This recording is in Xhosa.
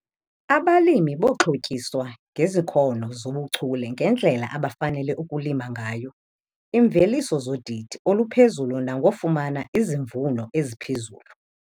Abalimi boxhotyiswa ngezikhono zobuchule ngendlela abafanele ukulima ngayo iimveliso zodidi oluphezulu nangofumana izivuno eziphezulu.